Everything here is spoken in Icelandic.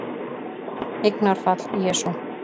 Eignarfall: Jesú